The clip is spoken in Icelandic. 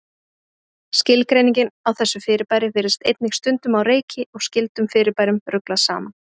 Skilgreiningin á þessu fyrirbæri virðist einnig stundum á reiki og skyldum fyrirbærum ruglað saman.